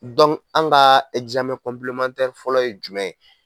an ka fɔlɔ ye jumɛn ye.